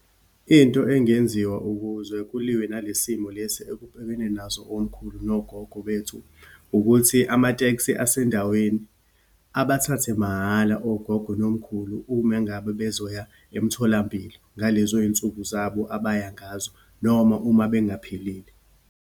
Into engenziwa ukuze kuliwe nale simo lesi ekubhekene nazo omkhulu nogogo bethu, ukuthi amatekisi asendaweni abathathe mahala ogogo nomkhulu, uma ngabe bezoya emtholampilo ngalezo yinsuku zabo abaya ngazo, noma uma bengaphilile.